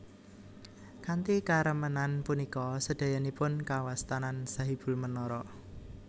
Kanthi karemenan punika sedayanipun kawastanan Sahibul Menara